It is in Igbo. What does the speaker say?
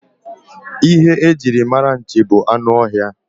Ihe e jiri mara nchi bụ anụ ọhịa.